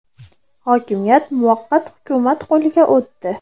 Hokimiyat muvaqqat hukumat qo‘liga o‘tdi.